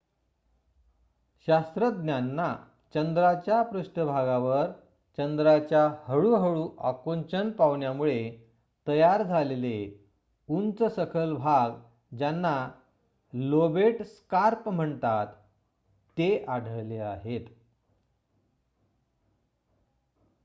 शास्त्रज्ञांना चंद्राच्या पृष्टभागावर चंद्राच्या हळूहळू आकुंचन पावण्यामुळे तयार झालेले उंच सखल भाग ज्यांना लोबेट स्कार्प म्हणतात ते आढळले आहेत